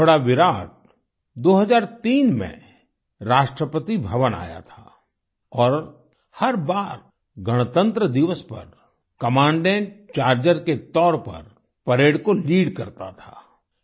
घोड़ा विराट 2003 में राष्ट्रपति भवन आया था और हर बार गणतंत्र दिवस पर कमांडेंट चार्जर के तौर पर परेड को लीड करता था